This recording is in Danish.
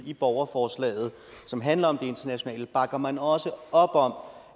i borgerforslaget som handler om det internationale bakker man også op om